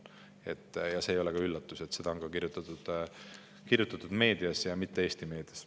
See ei ole ka mingi üllatus, sellest on kirjutatud ka meedias, ja mitte Eesti meedias.